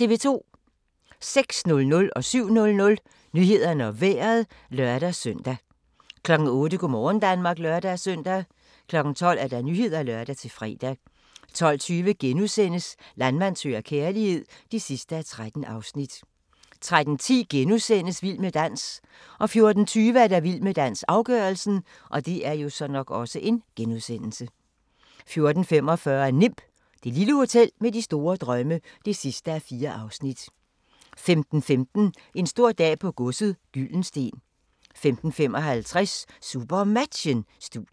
06:00: Nyhederne og Vejret (lør-søn) 07:00: Nyhederne og Vejret (lør-søn) 08:00: Go' morgen Danmark (lør-søn) 12:00: Nyhederne (lør-fre) 12:20: Landmand søger kærlighed (13:13)* 13:10: Vild med dans * 14:20: Vild med dans - afgørelsen 14:45: Nimb - det lille hotel med store drømme (4:4) 15:15: En stor dag på godset - Gyldensteen 15:50: SuperMatchen: Studiet